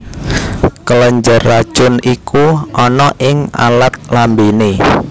Kelenjar racun iku ana ing alat lambéné